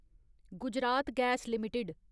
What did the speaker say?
Gujarat gas limited